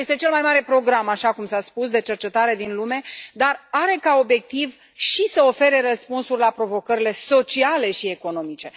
Este cel mai mare program, așa cum s a spus, de cercetare din lume, dar are ca obiectiv și să ofere răspunsuri la provocările sociale și economice.